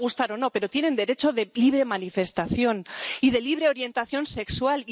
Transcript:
Nos puede gustar o no, pero tienen derecho de libre manifestación y de libre orientación sexual.